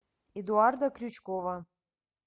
эдуарда крючкова